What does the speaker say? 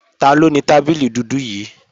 Taló tábìlì dúdú yí